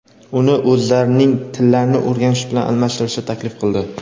uni "o‘zlarning tillarini" o‘rganish bilan almashtirishni taklif qildi.